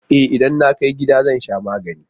E, idan na kai gida zan sha magani.